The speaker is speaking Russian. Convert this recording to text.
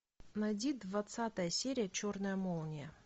найди двадцатая серия черная молния